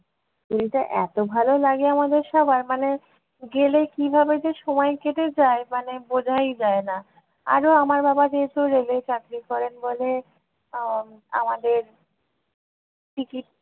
পুরীটা এত ভালো লাগে আমাদের সবার মানে গেলে কিভাবে যে সময় কেটে যায় মানে বোঝাই যায় না। আরো আমার বাবা যেহেতু rail এ চাকরি করেন বলে আহ আমাদের ticket